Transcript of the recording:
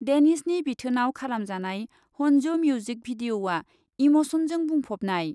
देनिशनि बिथोनआव खालामजानाय हन्जु मिउजिक भिडिअ'आ इम'सनजों बुंफबनाय।